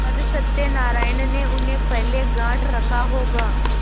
पर सत्यनारायण ने उन्हें पहले गॉँठ रखा होगा